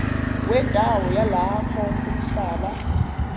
wendawo yalapho umhlaba